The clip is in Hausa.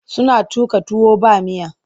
Suna tuƙa tuwa ba miya.